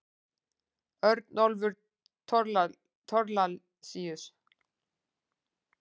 Örnólfur Thorlacius.